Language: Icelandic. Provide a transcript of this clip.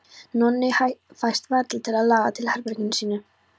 Nonni fæst varla til að laga til í herberginu sínu.